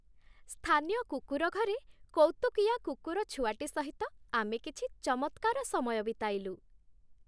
ସ୍ଥାନୀୟ କୁକୁର ଘରେ କୌତୁକିଆ କୁକୁରଛୁଆଟି ସହିତ ଆମେ କିଛି ଚମତ୍କାର ସମୟ ବିତାଇଲୁ।